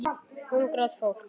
Hungrað fólk.